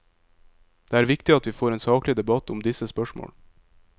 Det er viktig at vi får en saklig debatt om disse spørsmål.